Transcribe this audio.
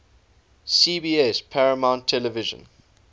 cbs paramount television